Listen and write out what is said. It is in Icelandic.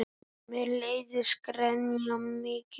Mér leiðist gremja þín.